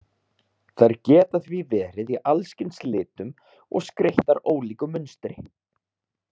Þær geta því verið í allskyns litum og skreyttar ólíku munstri.